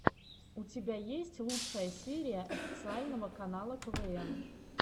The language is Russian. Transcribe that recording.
у тебя есть лучшая серия официального канала квн